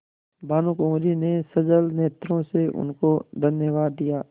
भानुकुँवरि ने सजल नेत्रों से उनको धन्यवाद दिया